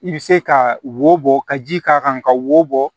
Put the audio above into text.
I bɛ se ka wo bɔ ka ji k'a kan ka wo bɔ